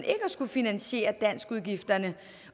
at skulle finansiere danskudgifterne